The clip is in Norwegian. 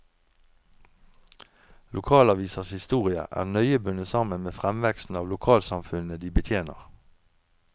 Lokalavisers historie er nøye bundet sammen med fremveksten av lokalsamfunnene de betjener.